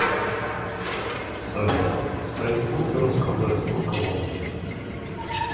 салют соизвольте рассказать сколько вам лет